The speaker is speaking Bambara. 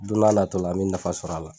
Don na n'a natɔla an be nafa sɔrɔ a la.